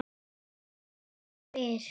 Ég bara spyr